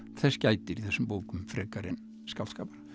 þess gætir í þessum bókum frekar en skáldskapar